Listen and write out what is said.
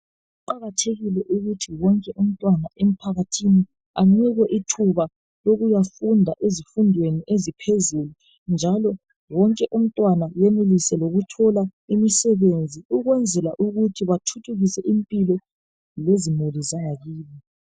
Kuqakathekile ukuthi wonke umntwana emphakathini anikwe ithuba lokuyafunda ezifundweni eziphezulu njalo wonke umtwana enelise lokuthola imisebenzi. Ukwenzela ukuthi bathuthukise impilo lezimuli zabo.